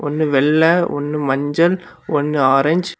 ஒன்னு வெள்ள ஒன்னு மஞ்சள் ஒன்னு ஆரஞ்சு .